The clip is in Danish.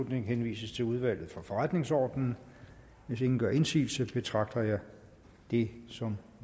henvises til udvalget for forretningsordenen hvis ingen gør indsigelse betragter jeg det som